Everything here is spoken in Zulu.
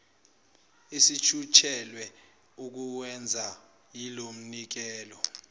esijutshelwe ukuwenza yilomnikelo